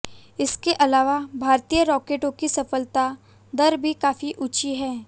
इसके अलावा भारतीय रॉकेटों की सफलता दर भी काफी ऊंची है